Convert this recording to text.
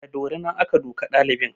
Da dorina aka duka ɗalibin